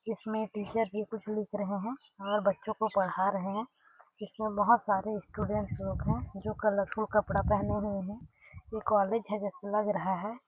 इसमें टीचर भी कुछ लिख रहे है और बच्चो को पढ़ा रहे है इसमें बहोत सारे स्टूडेंट लोग है जो कलरफुल कपड़ा पहने हुए है ये कॉलेज है जैसे लग रहा है।